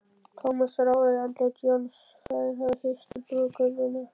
Thomas rámaði í andlit Jóns, þeir höfðu hist í brúðkaupinu.